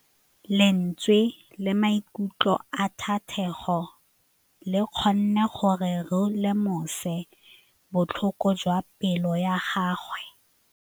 Lentswe la maikutlo a Thategô le kgonne gore re lemosa botlhoko jwa pelô ya gagwe.